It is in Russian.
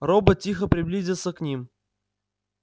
робот тихо приблизился к ним